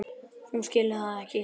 Hún skilur það ekki.